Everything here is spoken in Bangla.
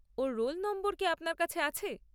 ওর রোল নম্বর কি আপনার কাছে আছে?